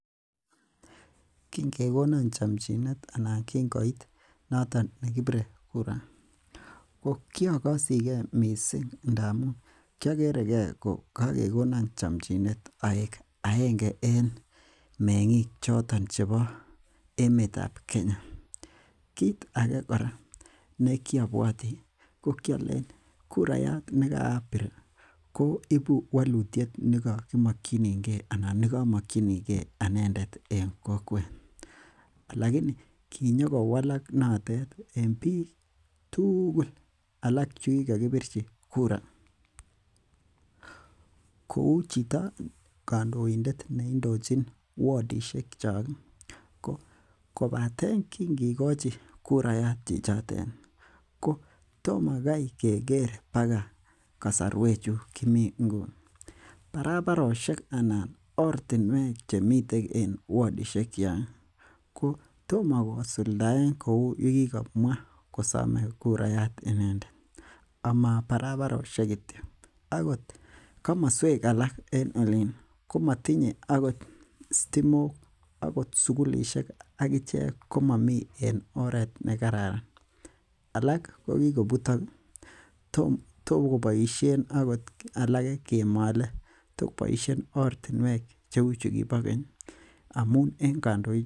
Kingekonan chamchinet anat kingoit kasarta noto nekibire kura . Ko kiagasige missing ndamuun kiagereke ko kagegona chamchinet aek aenge en meng'ikab Kenya, kit age kora nekiabuati , ko kialen kurayat nekiabir koibu walutiet en niamagyinige anendet en kokwet. Alaini kinyokowalak notet en bik tugul chukikaikbirchi kura. Kou chito kandoited kua wadishekchak ko kobaten kingekochi kurayat chichoten tom Kai kekere mbaga kasaruek chukimi nguni. Barabarosiek chemi en wadishekchak ko toma kosuldaen kouu yekikamwa komae kurayat inendet. Ama barabarosiek kityo akot komosuek alak cheuu komatinye akot stimok, sugulisiek akichek komami en oret nekararan. Alak kokikobutok tokobaishen akot korik chekimale cheuu chekibo keny amuun en kandoik.